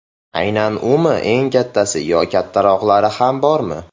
Aynan umi eng kattasi yo kattaroqlari ham bormi?